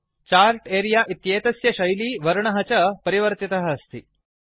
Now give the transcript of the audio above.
chart अरेऽ एतस्य शैली वर्णः च परिवर्तितः अस्ति